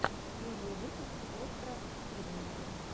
первый выпуск остра тирнина